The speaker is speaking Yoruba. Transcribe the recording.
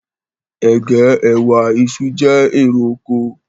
Ègé, ẹwà, iṣu, jẹ́ èrè oko